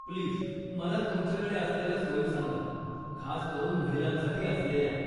Please, मला तुमच्याकडे असलेल्या सोयी सांगा, खास करून महिलांसाठी असलेल्या.